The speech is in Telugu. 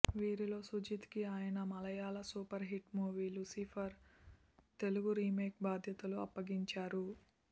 వీరిలో సుజీత్ కి ఆయన Malayalam super hit movie Lucifer Telugu remake బాధ్యతలు అప్పగించారు